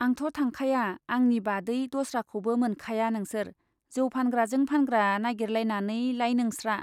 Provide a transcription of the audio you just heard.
आंथ' थांखाया आंनि बादै दस्राखौबो मोनखाया नोंसोर जौ फानग्राजों फानग्रा नाइगिरलायनानै लाय नोंस्रा।